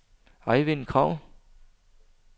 Ejvind Kragh